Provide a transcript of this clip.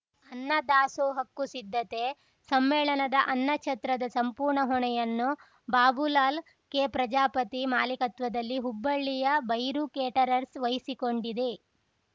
ಅನ್ನ ದಾಸೋಹಕ್ಕೂ ಸಿದ್ಧತೆ ಸಮ್ಮೇಳನದ ಅನ್ನ ಛತ್ರದ ಸಂಪೂರ್ಣ ಹೊಣೆಯನ್ನು ಬಾಬುಲಾಲ್‌ ಕೆ ಪ್ರಜಾಪತಿ ಮಾಲೀಕತ್ವದಲ್ಲಿ ಹುಬ್ಬಳ್ಳಿಯ ಭೈರು ಕೇಟರರ್ಸ್‌ ವಹಿಸಿಕೊಂಡಿದೆ